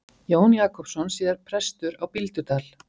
Jón Jakobsson, síðar prestur á Bíldudal.